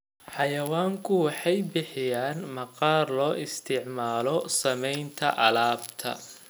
Xayawaanku waxay bixiyaan maqaarka loo isticmaalo samaynta alaabta.